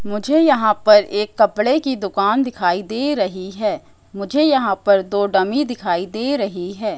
मुझे यहां पर एक कपड़े की दुकान दिखाई दे रही है मुझे यहां पर दो डमी दिखाई दे रही है।